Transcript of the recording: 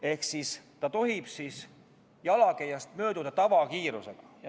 " Ehk nad tohivad jalakäijast mööduda tavakiirusega.